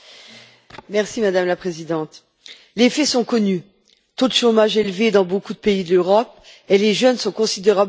Madame la Présidente, les faits sont connus le taux de chômage est élevé dans beaucoup de pays d'Europe et les jeunes sont considérablement touchés.